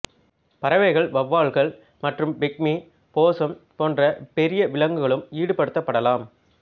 பறவைகள் வெளவால்கள் மற்றும் பிக்மி போஸம் போன்ற பெரிய விலங்குகளும் ஈடுபடுத்தப்படலாம்